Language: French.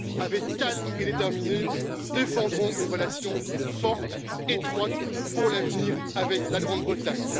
Avec calme et détermination, nous défendrons une relation forte, étroite pour l'avenir avec la Grande Bretagne.